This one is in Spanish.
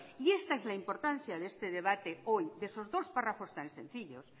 y está es la importancia de este debate hoy esos dos párrafos tan sencillos